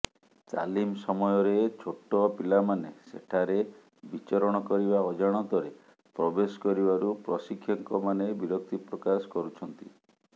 ତାଲିମ ସମୟରେ ଛୋଟ ପିଲାମାନେ ସେଠାରେ ବିଚରଣ କରିବା ଅଜାଣତରେ ପ୍ରବେଶ କରିବାରୁ ପ୍ରଶିକ୍ଷକମାନେ ବିରକ୍ତି ପ୍ରକାଶ କରୁଛନ୍ତି